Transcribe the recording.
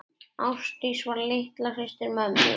Ásdís var litla systir mömmu.